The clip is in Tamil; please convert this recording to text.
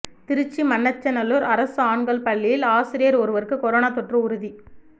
திருச்சி மண்ணச்சநல்லூர் அரசு ஆண்கள் பள்ளியில் ஆசிரியர் ஒருவருக்கு கொரோனா தொற்று உறுதி